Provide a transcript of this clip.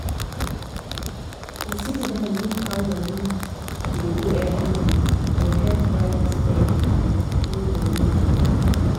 to sit down look how money dey go every month go help balance spending with new money goal.